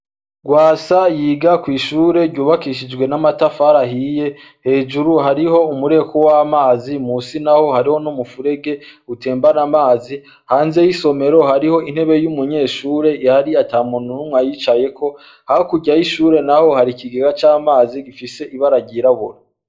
Gwasa yiga kw’ishure ryubakishijwe n’amatafar’ahiye, hejuru hariho umureko w’amazi musi naho hariho n’umufurege utemaban’amazi, hanze y’isomero hariho intebe y’umunyeshure ihari atamuntu n’umwe ayicayeko, hakurya y’ishure naho har’ikigega c’amazi gifise ibara ryirabura.